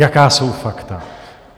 Jaká jsou fakta?